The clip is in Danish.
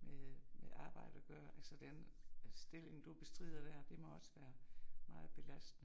med med arbejde og gøre så den stilling du bestrider der, det må også være meget belastende